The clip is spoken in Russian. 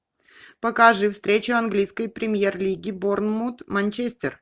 покажи встречу английской премьер лиги борнмут манчестер